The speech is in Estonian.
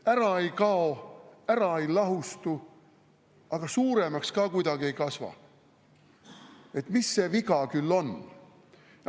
Ära ei kao, ära ei lahustu, aga suuremaks ka kuidagi ei kasva – mis see viga küll on?